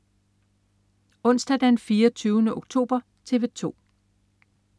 Onsdag den 24. oktober - TV 2: